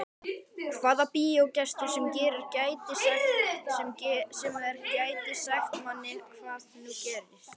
Hvaða bíógestur sem er gæti sagt manni hvað nú gerist.